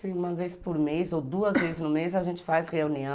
Sim, uma vez por mês ou duas vezes no mês a gente faz reunião.